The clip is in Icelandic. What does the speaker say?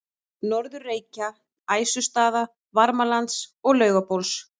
Norður-Reykja, Æsustaða, Varmalands og Laugabóls.